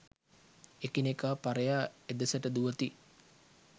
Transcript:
එකිනෙකා පරයා එදෙසට දුවති.